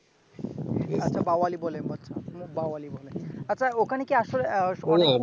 আচ্ছা বাওয়ালি বলে বাওয়ালি বলে আচ্ছা ওখানে কি